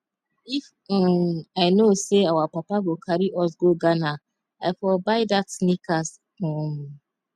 if um i know say our papa go carry us go ghana i for buy dat sneakers um